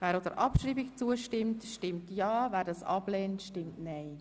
Wer der Abschreibung zustimmt, stimmt ja, wer sie ablehnt, stimmt nein.